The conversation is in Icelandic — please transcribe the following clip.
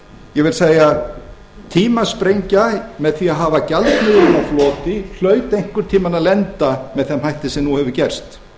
ég vil segja tímasprengja með því að hafa gjaldmiðilinn á floti hlaut einhvern tímann að lenda með þeim hætti sem hefur nú gerst